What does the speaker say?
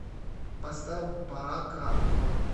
поставь барака аквариум